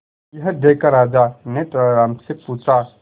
यह देखकर राजा ने तेनालीराम से पूछा